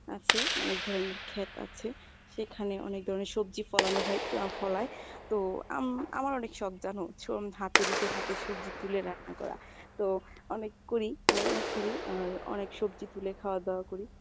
আছে অনেক ধরনের ক্ষেত আছে, সেখানে অরেক ধরনের সবজি ফলানো হয় ফলায়, তো আম~আমার অনেক শখ জানো হাতে নিজের হাতে সবজি তুলে রান্না করা। তো অনেক করি অনেক করি আর অনেক সবজি তুলে খাওয়া দাওয়া করি।